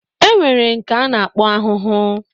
Enwere nke ana akpo ahụhụ